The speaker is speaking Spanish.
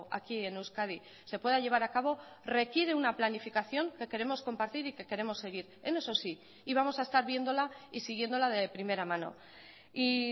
aquí en euskadi se pueda llevar acabo requiere una planificación que queremos compartir y que queremos seguir en eso sí y vamos a estar viéndola y siguiéndola de primera mano y